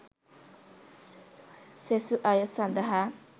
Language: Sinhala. සෙසු අය සඳහා